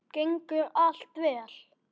Gengur allt vel?